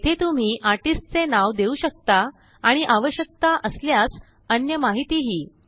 येथे तुम्हीआर्टिस्टचे नाव देऊ शकता आणि आवशक्यता असल्यासअन्य माहीतीही